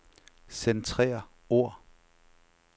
Centrer ord.